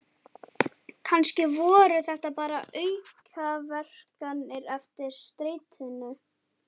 Kannski voru þetta bara aukaverkanir eftir streituna.